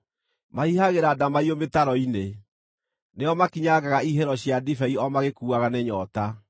Mahihagĩra ndamaiyũ mĩtaro-inĩ; nĩo makinyangaga ihihĩro cia ndibei o magĩkuaga nĩ nyoota.